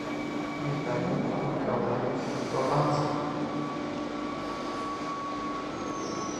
виталий николаевич бабанский